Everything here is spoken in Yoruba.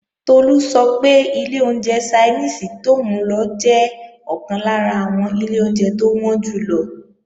Tolú sọ pé ilé oúnjẹ Ṣainíìsì tóún lọ jẹ́ ọ̀kan lára àwọn ilé oúnjẹ tó wọ́n jù lọ